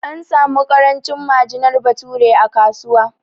An samu ƙarancin majinar bature a kasuwa